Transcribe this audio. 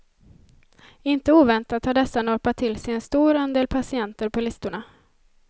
Inte oväntat har dessa norpat till sig en stor andel patienter på listorna.